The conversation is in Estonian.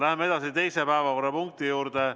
Läheme teise päevakorrapunkti juurde.